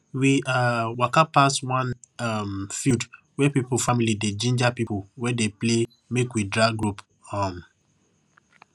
we um waka pass one um field wey pipu family dey ginger pipu wey dey play makewedragrope um